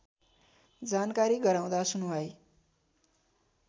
जानकारी गराउँदा सुनुवाई